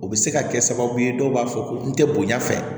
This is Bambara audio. O bɛ se ka kɛ sababu ye dɔw b'a fɔ ko n tɛ bonya fɛ